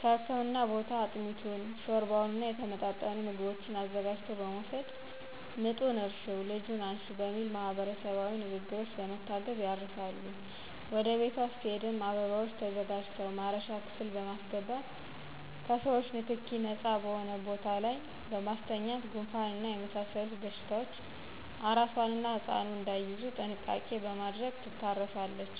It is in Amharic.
ከህክምና ቦታ አጥሚቱን: ሾርባውና የተመጣጠኑ ምግቦችን አዘጋጅቶ በመወሰድ ምጡን እርሽው ልጁን አንሽው በሚል ማህበረሰባዊ ንግግሮች በመታገዝ ያርሳሉ ወደ ቤቷ ስትሄድም አበባዎች ተዘጋጅተው ማረሻ ክፍል በማሰገባት ከሰዎቾ ንክኪ ነጻ በሆነ ቦታ ላይ በማስተኛት ጉንፋንና የመሳሰሉት በሽታዎች አራሷና ህጻኑ እዳይያዙ ጥንቃቄ በማድረግ ትታረሳለች